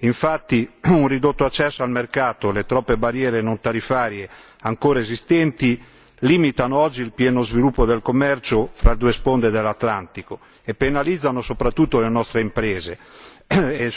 Infatti, un ridotto accesso al mercato e le troppe barriere non tariffarie ancora esistenti limitano oggi il pieno sviluppo del commercio fra le due sponde dell'Atlantico e penalizzano soprattutto le nostre imprese e